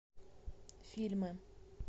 фильмы